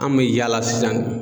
An me yaala sisan